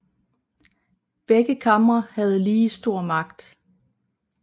Begge kamre havde lige stor magt